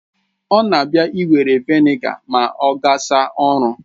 Ọ na abia iwere Vị́nịga ma ogasa ọrụ